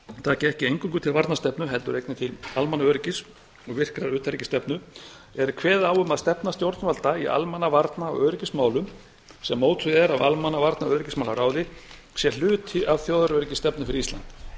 taki ekki eingöngu til varnarstefnu heldur einnig til almannaöryggis og virkrar utanríkisstefnu er kveðið á um að stefna stjórnvalda í almannavarna og öryggismálum sem mótuð er af almannavarnaöryggismálaráði sé hluti af þjóðaröryggisstefnu fyrir ísland